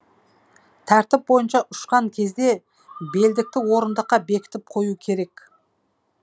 тәртіп бойынша ұшқан кезде белдікті орындыққа бекітіп қою керек